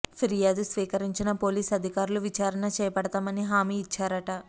ఫిర్యాదు స్వీకరించిన పోలీస్ అధికారులు విచారణ చేపడతాం అని హామీ ఇచ్చారట